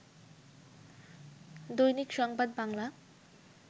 দৈনিক সংবাদ বাংলা